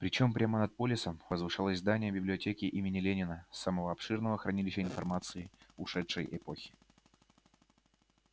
причём прямо над полисом возвышалось здание библиотеки имени ленина самого обширного хранилища информации ушедшей эпохи